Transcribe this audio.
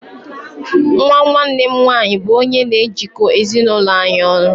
Nwa nwanne m nwanyị bu onye n'ejiko ezi n'ụlọ anyị ọnụ